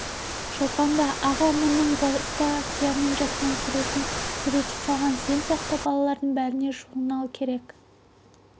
шолпан ал ағаң мұны баста сиямен жазған суретін суретші салған сен сияқты балалардың бәріне журнал керек